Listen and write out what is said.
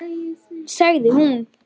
Sagði hún.